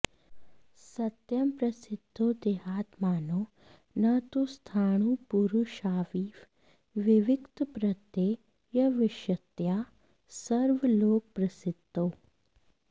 सत्यं प्रसिद्धौ देहात्मानौ न तु स्थाणुपुरुषाविव विविक्तप्रत्ययविषयतया सर्वलोकप्रसिद्धौ